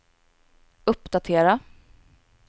uppdatera